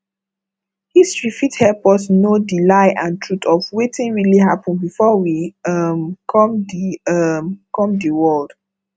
history fit help us know di lie and truth of wetin really happen before we um come di um come di world